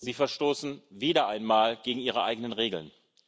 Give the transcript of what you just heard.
Sie verstoßen wieder einmal gegen Ihre eigenen Regeln.